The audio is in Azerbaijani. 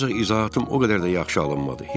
Ancaq izahatım o qədər də yaxşı alınmadı.